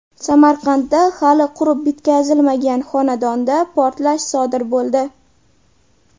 Samarqandda hali qurib bitkazilmagan xonadonda portlash sodir bo‘ldi.